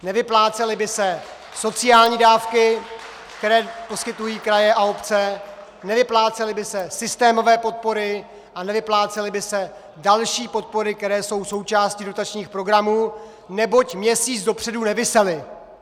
Nevyplácely by se sociální dávky, které poskytují kraje a obce, nevyplácely by se systémové podpory a nevyplácely by se další podpory, které jsou součástí dotačních programů, neboť měsíc dopředu nevisely!